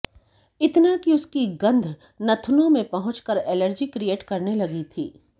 इतना कि उस की गंध नथुनों में पहुंच कर एलर्जी क्रिएट करने लगी थी